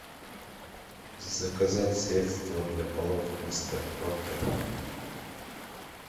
заказать средство для полов мистер пропер